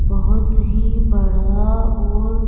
बहुत ही बड़ा और--